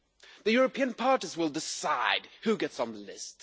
The European parties will decide who gets on the list.